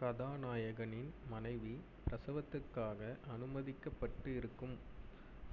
கதாநாயகனின் மனைவி பிரசவத்துக்காக அனுமதிக்கப்பட்டு இருக்கும்